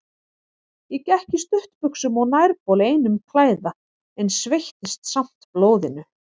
Ég gekk í stuttbuxum og nærbol einum klæða, en sveittist samt blóðinu.